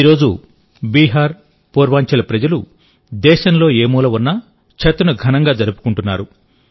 ఈరోజు బీహార్ పూర్వాంచల్ ప్రజలు దేశంలో ఏ మూలన ఉన్నా ఛత్ను ఘనంగా జరుపుకుంటున్నారు